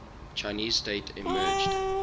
chinese state emerged